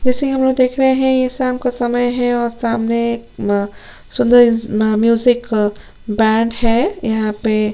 जैसे की हमलोग देख रहे है ये शाम का समय है और शाम में अम सुन्दर अ म्यूजिक अ बैंड है यहाँ पे--